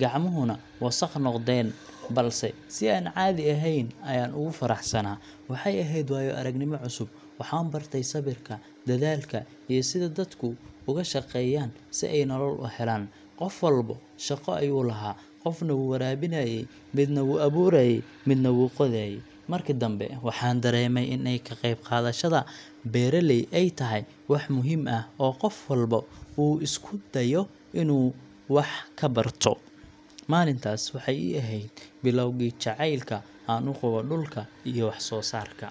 gacmuhuna wasakh noqdeen, balse si aan caadi ahayn ayaan ugu faraxsanaa. Waxay ahayd waayo-aragnimo cusub, waxaan bartay sabirka, dadaalka, iyo sida dadku uga shaqeeyaan si ay nolol u helaan. Qof walba shaqo ayuu lahaa, qofna wuu waraabinayay, midna wuu abuurayay, midna wuu qodayay. Markii dambe waxaan dareemay in ka qeyb qaadashada beeraley ay tahay wax muhiim ah oo qof walba uu isku dayo inuu wax ka barto. Maalintaas waxay ii ahayd bilowgii jacaylka aan u qabo dhulka iyo wax-soo-saarka.